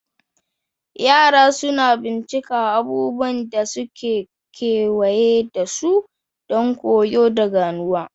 Yara suna bincika abubuwan da suke kewaye da su don koyo da ganowa.